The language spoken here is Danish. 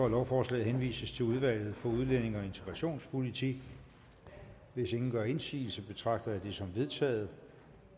at lovforslaget henvises til udvalget for udlændinge og integrationspolitik hvis ingen gør indsigelse betragter jeg dette som vedtaget